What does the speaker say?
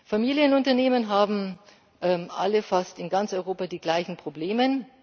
Familienunternehmen haben alle fast in ganz Europa die gleichen Probleme.